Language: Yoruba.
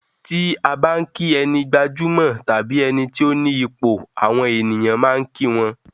Ti a bá n ki ẹni gbajúmọ̀ tàbí ẹni ti o ni ipò, àwọn ènìyàn máa kí wọ́n.